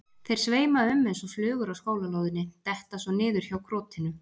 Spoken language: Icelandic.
Þeir sveima um eins og flugur á skólalóðinni, detta svo niður hjá krotinu.